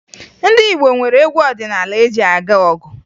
Ndị Igbo nwere egwu ọdịnaala eji aga ọgụ